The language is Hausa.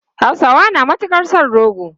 Hausawa na matukar son rogo.